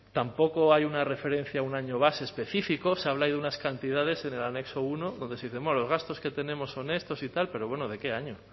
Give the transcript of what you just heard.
tampoco hay una referencia a un año base específico se habla ahí de unas cantidades en el anexo uno donde se dice los gastos que tenemos son estos y tal pero bueno de qué año